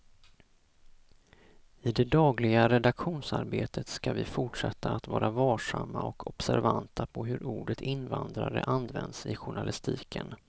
I det dagliga redaktionsarbetet ska vi fortsätta att vara varsamma och observanta på hur ordet invandrare används i journalistiken.